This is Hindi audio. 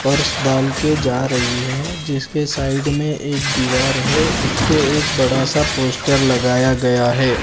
पर्स डाल के जा रही है जिसके साइड में एक दीवार है उसपे एक बड़ा सा पोस्टर लगाया गया है।